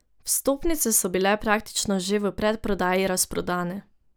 Vstopnice so bile praktično že v predprodaji razprodane.